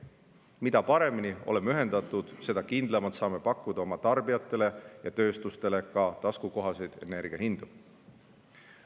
Mida paremini oleme ühendatud, seda kindlamalt saame pakkuda oma tarbijatele ja tööstusele ka taskukohaseid energiahindu.